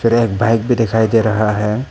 Bike भी दिखाई दे रहा है।